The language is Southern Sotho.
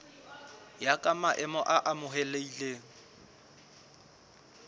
ya ka maemo a amohelehileng